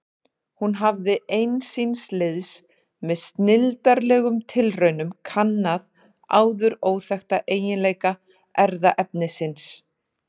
Hún hafði ein síns liðs með snilldarlegum tilraunum kannað áður óþekkta eiginleika erfðaefnisins.